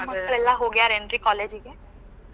ನಿಮ್ ಮಕ್ಳ ಎಲ್ಲಾ ಹೋಗ್ಯಾರೇನ್ರಿ college ಗೆ?